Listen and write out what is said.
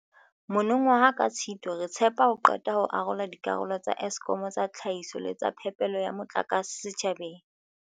Mono waha ka Tshitwe, re tshepa ho qeta ho arola dikarolo tsa Eskom tsa tlhahiso le tsa phepelo ya motlakase setjhabeng.